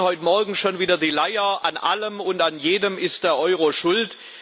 Wir hören heute Morgen schon wieder die Leier, an allem und an jedem sei der Euro schuld.